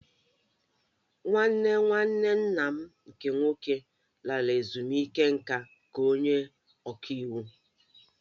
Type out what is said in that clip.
Nwanne nwanne nna m nke nwoke lara ezumike nká ka onye ọka iwu